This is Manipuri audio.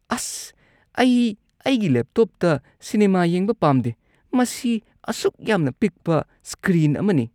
ꯑꯁ꯫ ꯑꯩ ꯑꯩꯒꯤ ꯂꯦꯞꯇꯣꯞꯇ ꯁꯤꯅꯦꯃꯥ ꯌꯦꯡꯕ ꯄꯥꯝꯗꯦ꯫ ꯃꯁꯤ ꯑꯁꯨꯛ ꯌꯥꯝꯅ ꯄꯤꯛꯄ ꯁ꯭ꯀ꯭ꯔꯤꯟ ꯑꯃꯅꯤ꯫